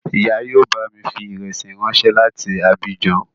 Ìyá yóò bámi fi ìrẹsí ráńṣẹ́ láti Abijan